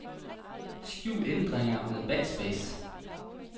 Skjul ændringer med backspace.